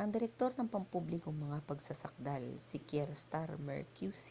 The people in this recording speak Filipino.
ang direktor ng pampublikong mga pagsasakdal si kier starmer qc